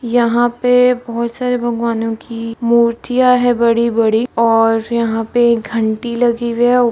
यहाँ पे बहोत सारे भगवानों की मूर्तियां है बड़ी-बड़ी और यहाँ पे घंटी लगी हुई है उ --